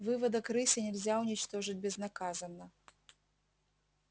выводок рыси нельзя уничтожить безнаказанно